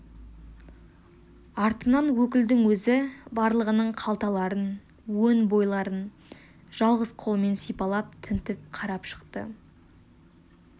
артынан өкілдің өзі барлығының қалталарын өн бойларын жалғыз қолымен сипалап тінтіп қарап шықты